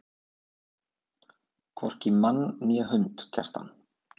Hvorki mann né hund, Kjartan.